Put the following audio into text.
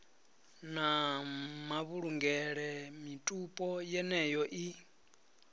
na mavhulungele mitupo yeneyo i